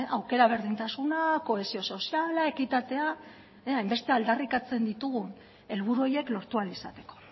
aukera berdintasuna kohesio soziala ekitatea hainbeste aldarrikatzen ditugun helburu horiek lortu ahal izateko